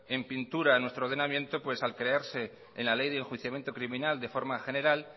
en pintura en nuestro ordenamiento pues al crearse en la ley de enjuiciamiento criminal de forma general